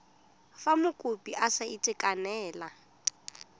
fa mokopi a sa itekanela